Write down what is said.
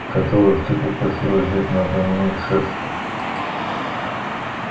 которых ты попросила взять надо мной шефство